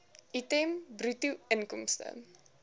item bruto inkomste